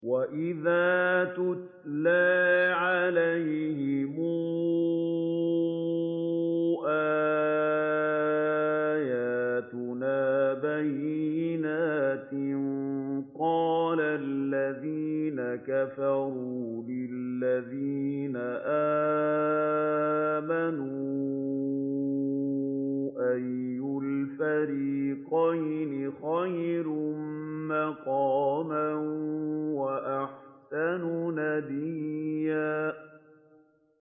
وَإِذَا تُتْلَىٰ عَلَيْهِمْ آيَاتُنَا بَيِّنَاتٍ قَالَ الَّذِينَ كَفَرُوا لِلَّذِينَ آمَنُوا أَيُّ الْفَرِيقَيْنِ خَيْرٌ مَّقَامًا وَأَحْسَنُ نَدِيًّا